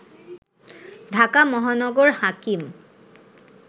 ঢাকা মহানগর হাকিম